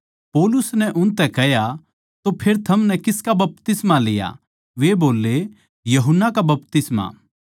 पौलुस नै उनतै कह्या तो फेर थमनै किसका बपतिस्मा लिया वे बोल्ले यूहन्ना का बपतिस्मा